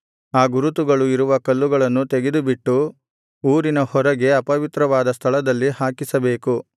ಆ ಗುರುತುಗಳು ಇರುವ ಕಲ್ಲುಗಳನ್ನು ತೆಗೆದುಬಿಟ್ಟು ಊರಿನ ಹೊರಗೆ ಅಪವಿತ್ರವಾದ ಸ್ಥಳದಲ್ಲಿ ಹಾಕಿಸಬೇಕು